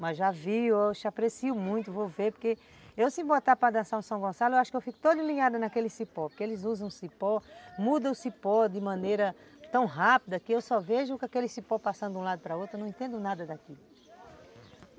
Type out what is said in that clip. Mas já vi, hoje, aprecio muito, vou ver, porque eu se botar para dançar no São Gonçalo, eu acho que eu fico toda alinhada naquele cipó, porque eles usam cipó, mudam o cipó de maneira tão rápida que eu só vejo com aquele cipó passando de um lado para outro, eu não entendo nada daquilo.